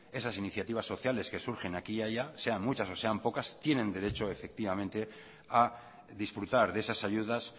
esas iniciativas sociales que surgen aquí y allá sean muchas o sean pocas tienen derecho efectivamente a disfrutar de esasayudas